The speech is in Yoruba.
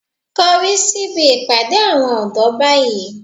Korí síbi ìpàdé àwọn ọ̀dọ́ báyìí